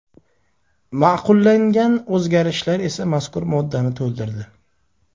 Ma’qullangan o‘zgarishlar esa mazkur moddani to‘ldirdi.